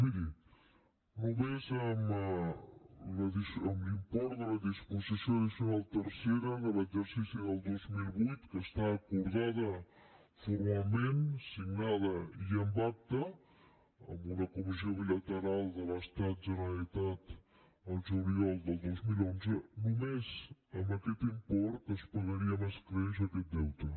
miri només amb l’import de la disposició addicional tercera de l’exercici del dos mil vuit que està acordada formalment signada i amb acta en una comissió bilateral de l’estat generalitat el juliol del dos mil onze només amb aquest import es pagaria amb escreix aquest deute